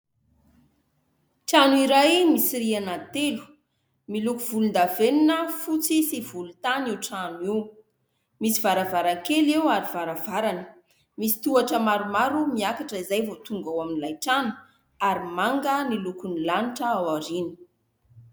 Trano iray misy rihana telo, miloko volondavenona fotsy sy volontany io trano io, misy varavarankely eo ary varavarana misy tohotra maromaro miakatra izay vao tonga ao amin'ilay trano ary manga ny lokon'ny lanitra ao aoriana.